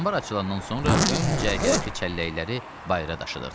Ambar açılanandan sonra ön cərgədəki çəlləkləri bayıra daşıdıq.